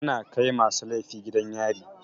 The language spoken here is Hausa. Ana kai masu laifi gidan yari.